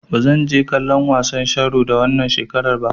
Ba zan je kallon wasan sharo ba wannan shekarar.